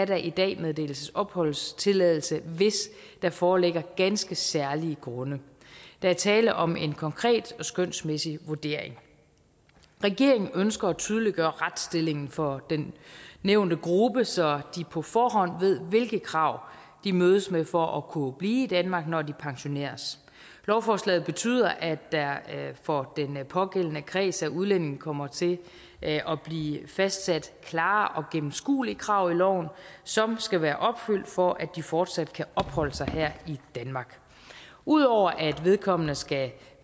der i dag meddeles opholdstilladelse hvis der foreligger ganske særlige grunde der er tale om en konkret skønsmæssig vurdering regeringen ønsker at tydeliggøre retsstillingen for den nævnte gruppe så de på forhånd ved hvilke krav de mødes med for at kunne blive i danmark når de pensioneres lovforslaget betyder at der for den pågældende kreds af udlændinge kommer til at blive fastsat klare og gennemskuelige krav i loven som skal være opfyldt for at de fortsat kan opholde sig her i danmark ud over at vedkommende skal